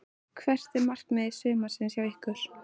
Hvert er markmið sumarsins hjá ykkur?